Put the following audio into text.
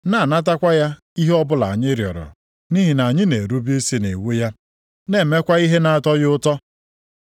na-anatakwa ya ihe ọbụla anyị rịọrọ nʼihi na anyị na-erube isi nʼiwu ya, na-emekwa ihe na-atọ ya ụtọ.